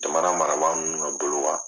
Jamana marabaa ninnu ka bolo ka.